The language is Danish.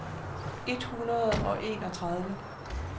et hundrede og enogtredive